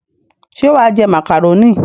Ṣé wà á jẹ màkàrónì?